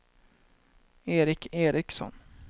Eric Ericson